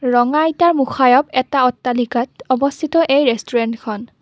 ৰঙা ইটাৰ মুখাৰত এটা অট্টালিকাত অৱস্থিত এই ৰেষ্টোৰেণ্টখন।